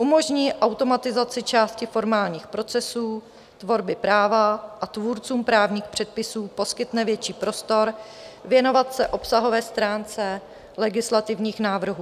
Umožní automatizaci části formálních procesů tvorby práva a tvůrcům právních předpisů poskytne větší prostor věnovat se obsahové stránce legislativních návrhů.